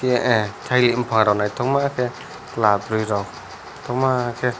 ehh tailik bopang rok naitongma ke kela boroi rok kotor naitongma ke.